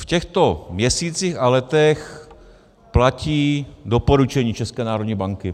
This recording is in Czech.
V těchto měsících a letech platí doporučení České národní banky.